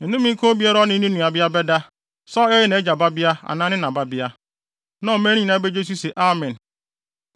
“Nnome nka obiara a ɔne ne nuabea bɛda, sɛ ɔyɛ nʼagya babea anaa ne na babea.” Na ɔman no nyinaa begye so se, “Amen!”